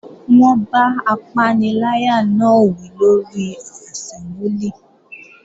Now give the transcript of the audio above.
Wọ́n bá apaniláyà náà wí lórí àsẹ́mbúlì